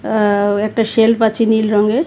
আও একটা সেলফ আছে নীল রংয়ের.